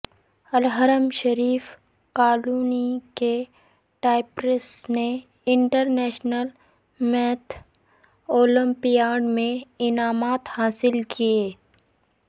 الحرا شریف کالونی کے ٹاپرس نے انٹر نیشنل میتھ اولمپیاڈ میں انعامات حاصل کیے